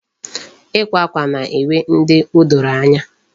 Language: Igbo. Ikwa akwa na-enwe ndị o doro anya.